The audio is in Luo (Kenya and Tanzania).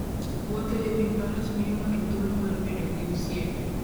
Wuotho e wi faras miyo ng'ato thuolo mar bedo gi osiepe.